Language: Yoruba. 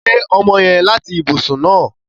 Gbé ọmọ yẹn láti ibùsùn náà!